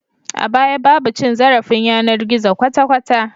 A baya babu cin zarafin yanar gizo kwata kwata